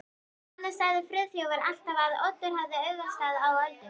Annars sagði Friðþjófur alltaf að Oddur hefði augastað á Öldu.